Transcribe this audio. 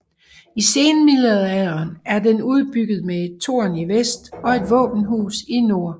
I senmiddelalderen er den udbygget med et tårn i vest og et våbenhus i nord